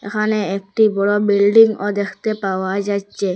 এখানে একটি বড় বিল্ডিংও দেখতে পাওয়া যাচ্ছে।